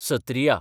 Sattriya